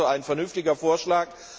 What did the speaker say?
Das ist ein vernünftiger Vorschlag.